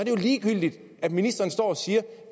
jo ligegyldigt at ministeren står og siger